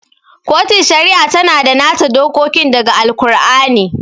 Kotun Shari'a tana da nata dokokin da ga Al-kur'ani